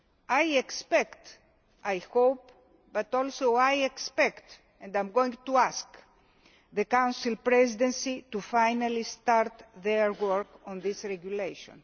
I expect I hope, but also I expect and I am going to ask the Council Presidency to finally start their work on this regulation.